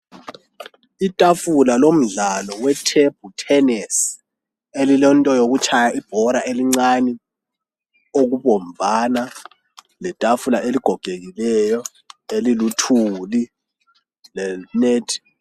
itafula lomdlalo weTable tennis elilento yokutshaya ibhola elincane okubomvana letafula eligogekileyo eliluthuli lenethi